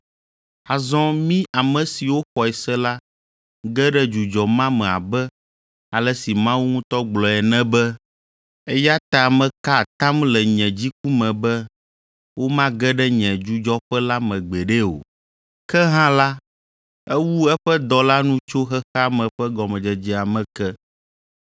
Azɔ mí ame siwo xɔe se la ge ɖe dzudzɔ ma me abe ale si Mawu ŋutɔ gblɔe ene be, “Eya ta meka atam le nye dziku me be, womage ɖe nye dzudzɔƒe la me gbeɖe o.” Ke hã la, ewu eƒe dɔ la nu tso xexea me ƒe gɔmedzedzea me ke.